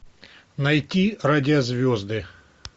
найти радиозвезды